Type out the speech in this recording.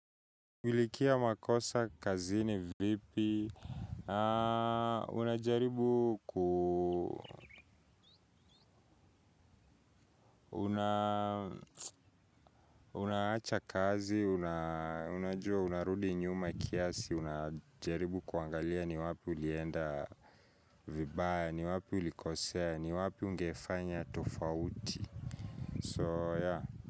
Milikia makosa, kazini, vipi, unajaribu, unaacha kazi, unajua unarudi nyuma kiasi, unajaribu kuangalia ni wapi ulienda vibaya, ni wapi ulikosea, ni wapi ungefanya tofauti.